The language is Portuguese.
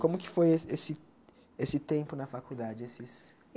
Como que foi esse esse esse tempo na faculdade? Esses